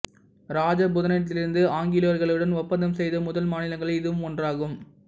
இராஜபுதனத்திலிருந்து ஆங்கிலேயர்களுடன் ஒப்பந்தம் செய்த முதல் மாநிலங்களில் இதுவும் ஒன்றாகும்